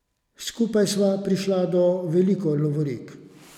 Skupaj sva prišla do veliko lovorik.